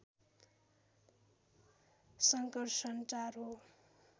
संकर्सन ४ हो